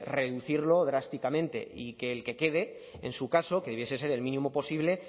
reducirlo drásticamente y el que quede en su caso que debiese ser el mínimo posible